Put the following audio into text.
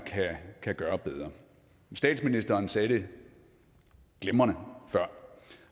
kan gøre bedre statsministeren sagde det glimrende før